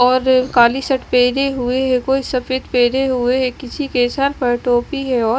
और काली शर्ट पेहरे हुए है कोई सफेद पेहरे हुए है किसी के सर पर टोपी है औ --